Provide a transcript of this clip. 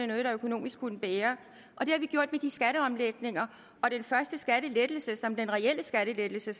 noget der økonomisk kunne bære og det har vi gjort med de skatteomlægninger og den første skattelettelse som er den reelle skattelettelse